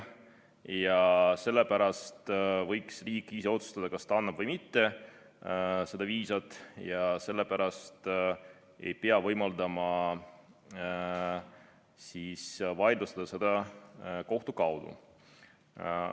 Ja sellepärast võiks riik ise otsustada, kas ta annab või mitte seda viisat, ja sellepärast ei pea võimaldama vaidlustada seda kohtu kaudu.